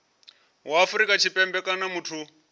wa afrika tshipembe kana muthu